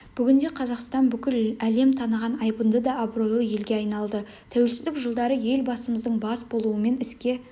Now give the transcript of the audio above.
бүгінде қазақстан бүкіл лем таныған айбынды да абыройлы елге айналды туелсіздік жылдары елбасымыздың бас болуымен іске